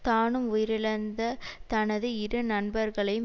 தானும் உயிரிழந்த தனது இரு நண்பர்களும்